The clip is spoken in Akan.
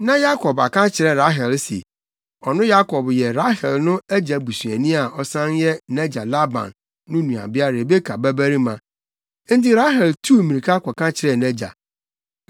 Na Yakob aka akyerɛ Rahel se, ɔno Yakob yɛ Rahel no agya busuani a ɔsan yɛ nʼagya Laban no nuabea Rebeka babarima. Enti Rahel tuu mmirika kɔka kyerɛɛ nʼagya.